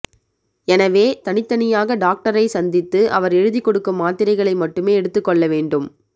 எனவே தனித்தனியாக டாக்டரை சந்தித்து அவர் எழுதி கொடுக்கும் மாத்திரைகளை மட்டுமே எடுத்து கொள்ள வேண்டும்